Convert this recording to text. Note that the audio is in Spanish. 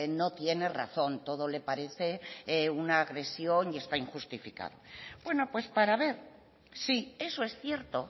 no tiene razón todo le parece una agresión y está injustificado bueno pues para ver si eso es cierto